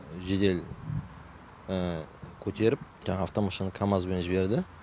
жедел көтеріп жаңа автомашин камазбен жіберді